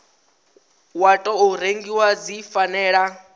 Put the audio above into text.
wa tou rengiwa dzi fanela